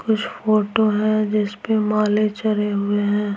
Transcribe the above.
कुछ फोटो है जिस पे माले चरे हुए हैं।